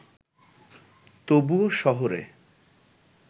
তবুও শহরে